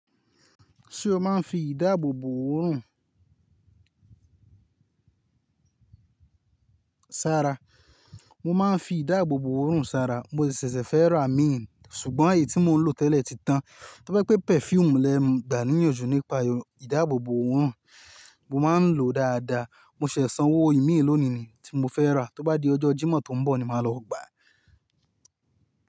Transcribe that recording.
Ṣé o máa ń fi ìdáàbòbò òórùn sára? Mo máa ń fi ìdáàbòbò òórùn sára. Mo ṣẹ̀ṣẹ̀ fẹ́ ra miín, ṣùgbọ́n èyí tí mo ń lò tẹ́lẹ̀ ti tán. Tó ba jẹ pé perfume lẹ ń gbà níyànjú nípa ìdáàbòbò òórùn, mo máa ń lò ó dáadáa. Mo ṣẹ̀ṣẹ̀ sanwó imiiran lónìí ni tí mo fẹ́ rà, tó bá di ọjọ́ Jímọ̀ tó ń bọ̀ ni màá lọ gbà.